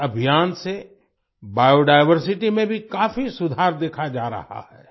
इस अभियान से बायोडायवर्सिटी में भी काफी सुधार देखा जा रहा है